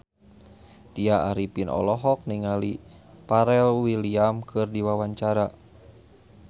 Tya Arifin olohok ningali Pharrell Williams keur diwawancara